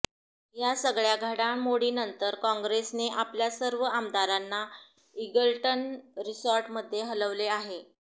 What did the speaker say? या सगळ्या घडामोडींनंतर काँग्रेसने आपल्या सर्व आमदारांना ईगल्टन रिसॉर्टमध्ये हलवले आहे